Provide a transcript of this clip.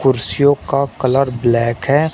कुर्सियों का colour black है।